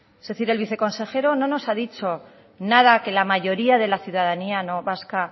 es decir que el viceconsejero no nos ha dicho nada que la mayoría de la ciudadanía vasca